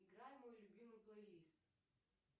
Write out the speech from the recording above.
играй мой любимый плейлист